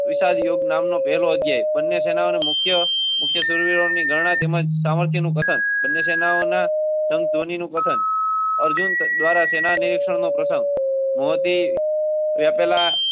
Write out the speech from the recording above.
વિષયોગ નામના. સુરગાણા. તંગ ધોનીનો ક અર્જુન દ્વારા સેનાની શર્મા પ્રથમ મોતી.